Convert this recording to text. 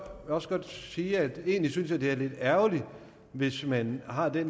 også godt sige at jeg egentlig synes det er lidt ærgerligt hvis man har det